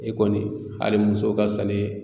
E kɔni hali muso ka sani ye.